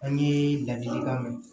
An ye ladilikan min